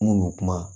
N kun bɛ kuma